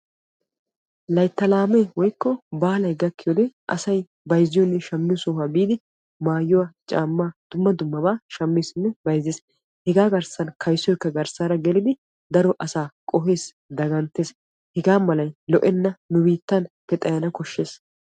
Laytta laame woykko baalay gakiyo wode asay bayzziyonne shamiyo sohuwa biidi maayuwa, caama dumma dummaba bayzzessinne shammees hegaa garssan kayssoykka garssara geliddi daro asaa qohees, daganttes hegaa malay lo'enna nu biittappe xayana koshees.